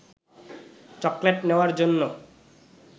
chocolate নেওয়ার জন্য